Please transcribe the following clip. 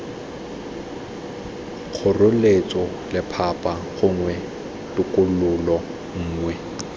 kgoreletso lephata gongwe tokololo nngwe